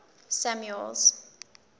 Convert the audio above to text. samuel's